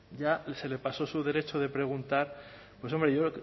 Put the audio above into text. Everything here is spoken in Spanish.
ya se le pasó su derecho de preguntar pues hombre yo